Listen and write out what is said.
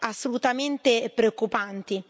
assolutamente preoccupanti.